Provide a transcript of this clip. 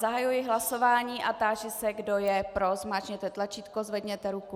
Zahajuji hlasování a táži se, kdo je pro, zmáčkněte tlačítko, zvedněte ruku.